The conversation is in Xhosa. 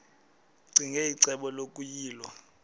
ccinge icebo lokuyilwa